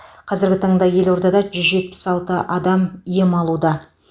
қазіргі таңда елордада жүз жетпіс алты адам ем алуда